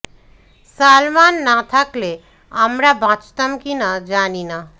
সালমান না থাকলে আমরা বাঁচতাম কি না জানি না